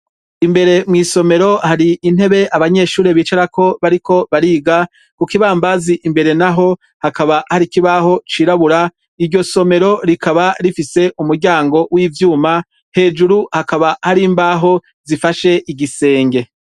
Imbere mw' isomero hari intebe bicarako bariko bariga hari ikibambazi imbere naho hakaba hari ikibaho cirabura hakaba hari umuryango w' icuma hejuru hakaba hari imbaho zifashe igisenge.